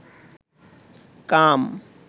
কাম